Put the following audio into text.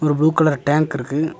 ஒரு blue colour டேங்கிருக்கு .